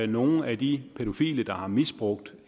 nogle af de pædofile der har misbrugt